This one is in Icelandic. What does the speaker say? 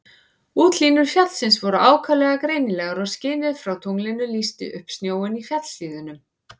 Útlínur fjallsins voru ákaflega greinilegar og skinið frá tunglinu lýsti upp snjóinn í fjallshlíðunum.